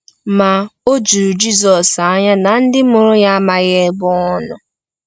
Ma, o juru Jizọs anya na ndị mụrụ ya amaghi ebe ọ nọ.